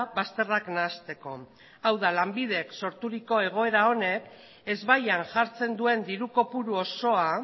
bazterrak nahasteko hau da lanbidek sorturiko egoera honek ezbaian jartzen duen diru kopuru osoa